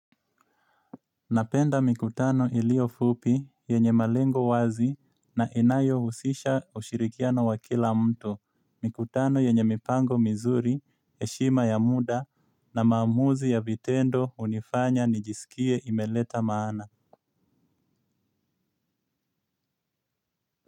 Napenda mikutano iliyo fupi yenye malengo wazi na inayohusisha ushirikiano wa kila mtu. Mikutano yenye mipango mizuri, heshima ya muda na maamuzi ya vitendo hunifanya nijisikie imeleta maana.